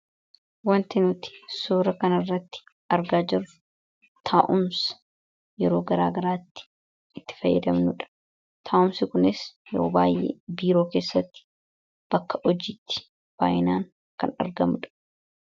Waanti nuti suura kana irratti argaa jirru, taa'umsa yeroo garaagaraatti itti fayyadamnudha. Taa'umsi kunis yeroo baayyee biiroo keessatti, bakka hojiitti baayyinaan kan argamudha.